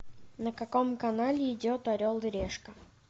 на каком канале идет орел и решка